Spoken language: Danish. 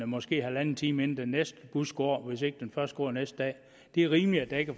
måske halvanden time inden den næste bus går hvis ikke den først går næste dag det er rimeligt at der ikke